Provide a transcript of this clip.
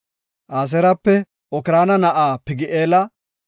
Aseerape Okraana na7aa Pagi7eela;